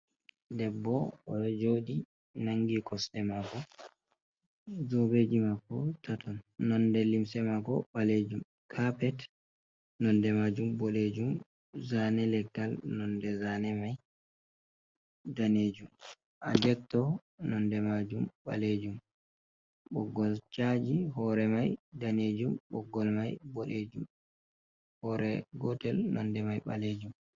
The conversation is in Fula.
Debbo o jooɗi nanngi kosɗe maako, zobeeji maako taton, nonde limse maako baleejum, kapet nonde maajum boɗeejum, zaane leggal nonde zaane may daneejum, adetto nonde maajum ɓaleejum, ɓoggol caaji hoore may daneejum, ɓoggol may boɗeejum, hoore gootel nonde may ɓaleejum.